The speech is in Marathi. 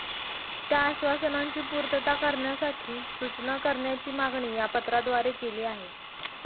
त्या आश्वासनांची पूर्तता करण्यासाठी सूचना करण्याची मागणी या पत्राद्वारे केली आहे